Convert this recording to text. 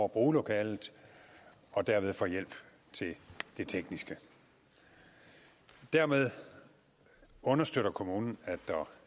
bruge lokalet og derved får hjælp til det tekniske dermed understøtter kommunen at der